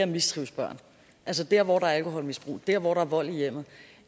mistrives altså der hvor der er alkoholmisbrug der hvor der er vold i hjemmet